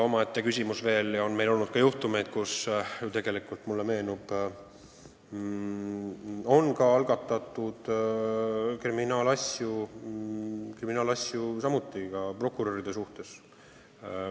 Meil on olnud juhtumeid, kus on algatatud kriminaalasju ka prokuröride suhtes.